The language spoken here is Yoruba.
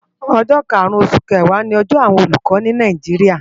Ójó kárún ósú kéwá ni òjò àwón ólúkò ni Náijiria